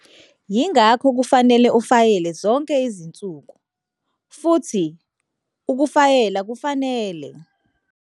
Yingakho kufanele ufayele zonke izinsuku, futhi ukufayela kufanele.